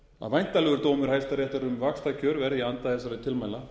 væntanlegur dómur hæstaréttar um vaxtakjör verði í anda þessara tilmæla